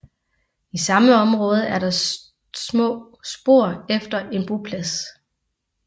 I samme område er der små spor efter en boplads